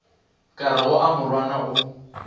ka rego a morwana o